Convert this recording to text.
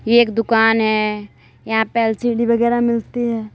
ये एक दुकान है यहां पर एल_सी_डी वगैरा मिलती है।